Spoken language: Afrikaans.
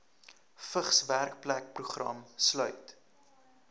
vigs werkplekprogram sluit